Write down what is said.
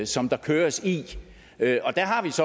som der køres i